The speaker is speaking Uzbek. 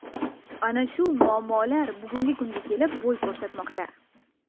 Ana shu muammolar bugungi kunga kelib bo‘y ko‘rsatmoqda.